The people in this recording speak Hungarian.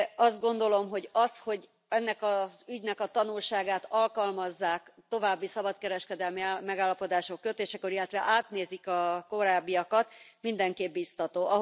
Azt gondolom, hogy az, hogy ennek az ügynek a tanulságát alkalmazzák további szabadkereskedelmi megállapodások kötésekor, illetve átnézik a korábbiakat, mindenképp biztató.